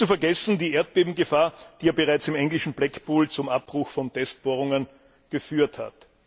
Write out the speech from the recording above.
Nicht zu vergessen die Erdbebengefahr, die bereits im englischen Blackpool zum Abbruch von Testbohrungen geführt hat.